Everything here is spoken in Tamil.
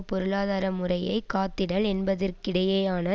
பொருளாதார முறையை காத்திடல் என்பதற்கிடையேயான